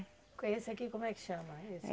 Com esse aqui, como é que chama? Esse